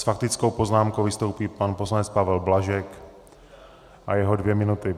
S faktickou poznámkou vystoupí pan poslanec Pavel Blažek a jeho dvě minuty.